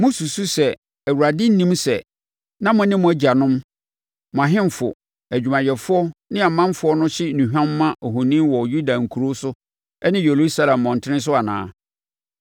“Mosusu sɛ, Awurade nnim sɛ na mo ne mo agyanom, mo ahemfo, adwumayɛfoɔ ne ɔmanfoɔ no hye nnuhwam ma ahoni wɔ Yuda nkuro so ne Yerusalem mmɔntene so anaa?